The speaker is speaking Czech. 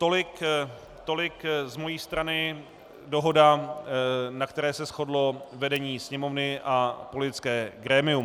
Tolik z mojí strany dohoda, na které se shodlo vedení Sněmovny a politické grémium.